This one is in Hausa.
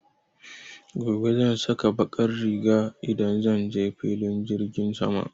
Gobe zan saka baƙar riga idan zan je filin jirgin sama.